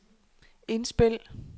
indspil